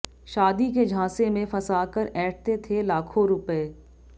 शादी के झांसे में फंसाकर ऐंठते थे लाखों रुपए